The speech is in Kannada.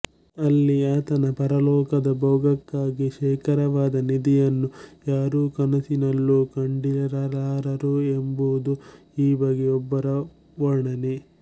ಅಲ್ಲಿ ಆತನ ಪರಲೋಕದ ಭೋಗಕ್ಕಾಗಿ ಶೇಖರವಾದ ನಿಧಿಯನ್ನು ಯಾರೂ ಕನಸಿನಲ್ಲೂ ಕಂಡಿರಲಾರರು ಎಂಬುದು ಈ ಬಗ್ಗೆ ಒಬ್ಬರ ವರ್ಣನೆ